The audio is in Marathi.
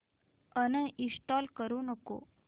अनइंस्टॉल करू नको